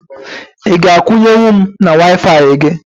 Ị ga akwunye nwu m na Waifai gị?